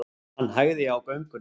Hann hægði á göngunni.